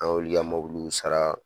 An y'olu ka sara